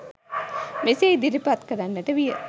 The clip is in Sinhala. මෙසේ ඉදිරිපත් කරන්නට විය